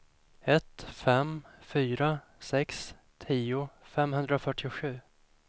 ett fem fyra sex tio femhundrafyrtiosju